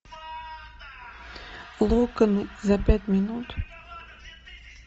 локоны за пять минут